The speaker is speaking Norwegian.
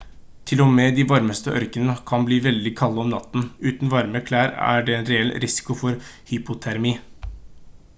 til og med de varmeste ørkener kan bli veldig kalde om natten uten varme klær er det en reell risiko for hypotermi